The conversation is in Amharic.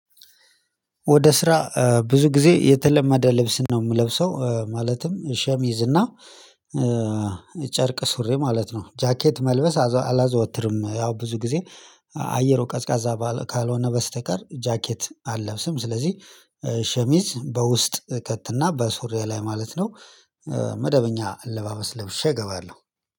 ወደ ስራ ብዙ ጊዜ የተለማደ ልብስ ነው የምለብሰው ማለትም ሸሚዝ እና ጨርቅ ሱሬ ማለት ነው ጃኬት መልበስ አላዘወትርም። ያው ብዙ ጊዜ አየሩ ቀዝቃዛ ባለ ካልሆነ በስተቀር ጃኬት አለብስም። ስለዚህ ሸሚዝ በውስጥ እከትና በሱሪያ በሶሪያ ላይ ማለት ነው። መደበኛ አለባበስ ለብሼ እገባለሁ